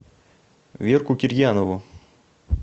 верку кирьянову